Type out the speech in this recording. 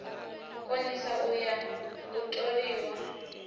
konisa u ya u toliwa